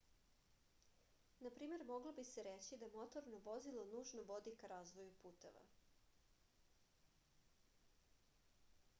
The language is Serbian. na primer moglo bi se reći da motorno vozilo nužno vodi ka razvoju puteva